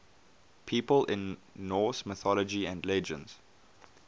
people in norse mythology and legends